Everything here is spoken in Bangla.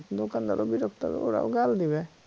দোকানদারও বিরক্ত হবে ওরাও গাল দিবে